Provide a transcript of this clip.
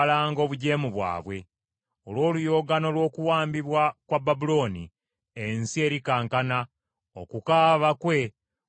Olw’oluyoogaano lw’okuwambibwa kwa Babulooni, ensi erikankana; okukaaba kwe kuliwulirwa mu mawanga.